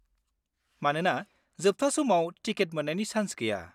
मानोना जोबथा समाव टिकेट मोन्नायनि सान्स गैया।